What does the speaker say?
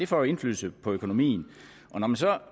får indflydelse på økonomien